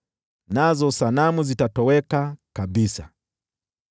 nazo sanamu zitatoweka kabisa.